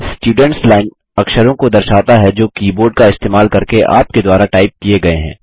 students line अक्षरों को दर्शाता है जो कीबोर्ड का इस्तेमाल करके आपके द्वारा टाइप किये गये हैं